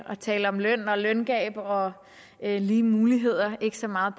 tale om løn løngab og lige muligheder og ikke så meget